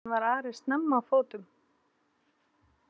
Næsta morgun var Ari snemma á fótum.